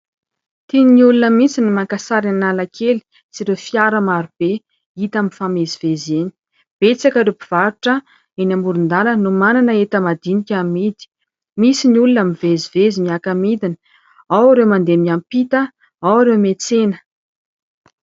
Tiany olona mihitsy ny maka sary eny Analakely sy ireo fiara maro be hita aminy mifamezivezy eny. Betsaka ireo mpivarotra eny amorondalana no manana entan-madinika amidy misy ny olona mivezivezy miaka midina ao ireo mandeha miampita ao ireo miantsena.